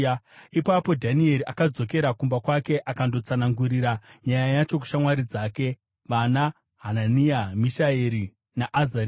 Ipapo Dhanieri akadzokera kumba kwake akandotsanangurira nyaya yacho kushamwari dzake vanaHanania, Mishaeri naAzaria.